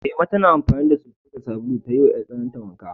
Ema tana amfani da soso da sabulu ta yiwa 'yartsanarta wanka.